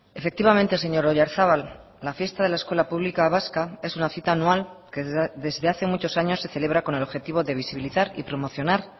efectivamente señor oyarzabal la fiesta de la escuela pública vasca es una cita anual que desde hace muchos años se celebra con el objetivo de visibilizar y promocionar